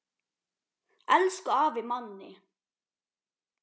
Elsku afi Manni.